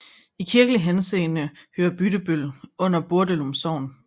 I kirkelig henseende hører Byttebøl under Bordelum Sogn